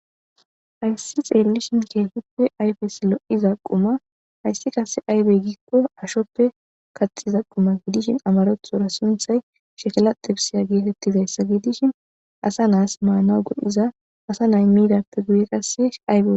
Hays xeelishn ayfes keehippe lo'iza quma ,hays qase aybe gikon ashope kaxiza guma gidishn amarathora sunthay shekila xibisiya getetizaysa gidishn asatas manawu go'iza asa nay midappe guye qase...